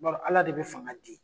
N b'a dɔn ala de be fanga di